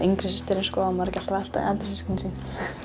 yngri systirin á maður ekki alltaf að elta eldri systkin sín